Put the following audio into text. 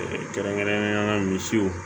kɛrɛnkɛrɛnnenyala misiw